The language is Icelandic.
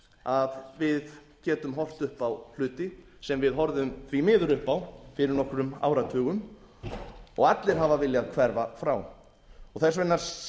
að við getum horft upp á hluti sem við horfðum því miður upp á nokkrum áratugum og allir hafa viljað hverfa frá þess vegna sit